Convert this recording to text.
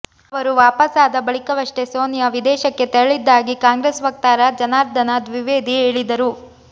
ಅವರು ವಾಪಸಾದ ಬಳಿಕವಷ್ಟೇ ಸೋನಿಯಾ ವಿದೇಶಕ್ಕೆ ತೆರಳಿದ್ದಾಗಿ ಕಾಂಗ್ರೆಸ್ ವಕ್ತಾರ ಜನಾರ್ದನ ದ್ವಿವೇದಿ ಹೇಳಿದರು